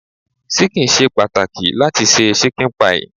Ṣíkìn ṣe pàtàkì láti se ṣíkìn pie.